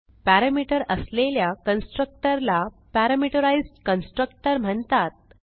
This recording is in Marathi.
पॅरामीटर असलेल्या कन्स्ट्रक्टर ला पॅरामीटराईज्ड कन्स्ट्रक्टर म्हणतात